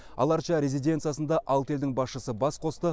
ала арча резиденциясында алты елдің басшысы бас қосты